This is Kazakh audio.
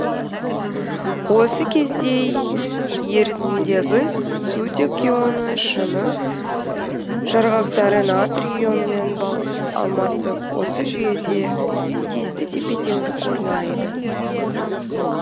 осы кезде ерітіндідегі сутек ионы шыны жарғақтары натрий ионымен алмасып осы жүйеде тиісті тепе теңдік орнайды